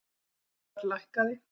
Framleiðsluverð lækkaði